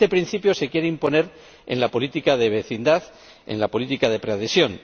Este principio se quiere imponer en la política de vecindad y en la política de preadhesión.